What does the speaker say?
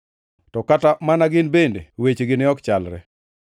To kata mana gin bende wechegi ne ok chalre.